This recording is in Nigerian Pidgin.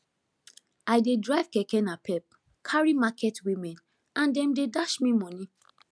i dey drive keke napep carry market women and them dey dash me money